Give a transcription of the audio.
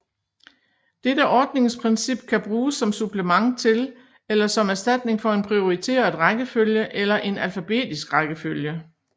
Dette ordningsprincip kan bruges som supplement til eller som erstatning for en prioriteret rækkefølge eller en alfabetisk rækkefølge